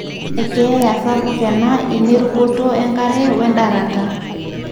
ekeeya sapuk ena inerukoto enkare we ndarata.